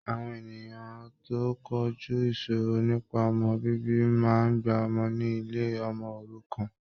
Àwọn ènìyàn tó ń kojú ìṣòro nípa ọmọ bíbí máa gbà ọmọ ni ilé ọmọ òrukàn.